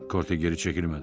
Korte geri çəkilmədi.